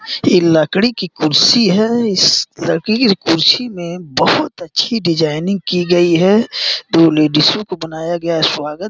ई लकड़ी की कुर्सी है। इस लकड़ी की कुर्सी में बहुत अच्छी डिजाइनिंग की गई है। दो लेडिसो को बनाया गया है। स्वागत --